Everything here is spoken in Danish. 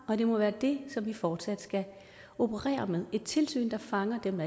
og det må være det som vi fortsat skal operere med et tilsyn der fanger dem